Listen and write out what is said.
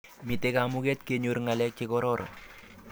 Mitei kamuket kenyor ng'alek chekororon.